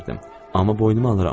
Amma boynuma alıram.